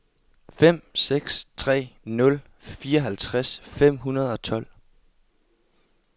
fem seks tre nul fireoghalvtreds fem hundrede og tolv